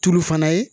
Tulu fana ye